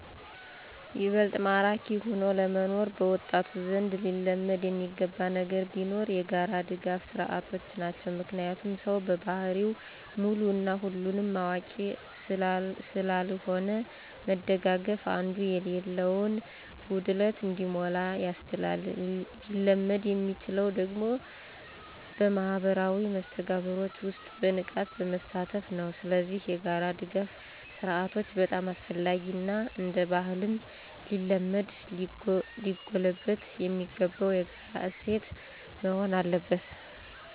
ይበልጥ ማራኪ ሆኖ ለመኖር በወጣቱ ዘንድ ሊለመድ የሚገባ ነገር ቢኖር የጋራ ድጋፍ ስርዓቶች ናቸው። ምክንያቱም ሰው በባህሪው ሙሉ እና ሁሉን አዋቂ ስላልሆነ መደጋገፉ አንዱ የሌላውን ጉድለት እንዲሞላ ያስችላል። ሊለመድ የሚችለው ደግሞ በማህበራዊ መስተጋብሮች ውስጥ በንቃት በመሳተፍ ነው። ስለዚህ የጋራ ድጋፍ ስርአቶች በጣም አስፈላጊ እና እንደባህልም ሊለመድ ሊጎለበት የሚገባው የጋራ እሴት መሆን አለበት።